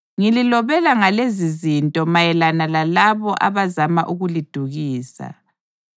Ngililobela ngalezizinto mayelana lalabo abazama ukulidukisa.